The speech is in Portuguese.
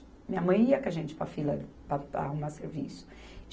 Minha mãe ia com a gente para a fila para, para arrumar serviço.